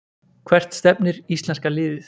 Hvert stefnir íslenska liðið